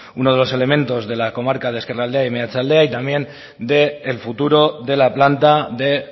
uno de los elementos de la comarca de ezkerraldea y meatzaldea y también del futuro de la planta de